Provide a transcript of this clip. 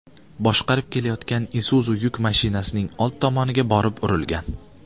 boshqarib kelayotgan Isuzu yuk mashinasining oldi tomoniga borib urilgan.